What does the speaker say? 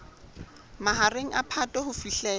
mahareng a phato ho fihlela